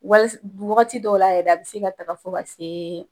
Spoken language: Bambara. Wa wagati dɔw la yɛrɛ a bɛ se ka taga fɔ ka se